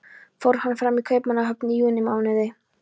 Fór hann fram í Kaupmannahöfn í júnímánuði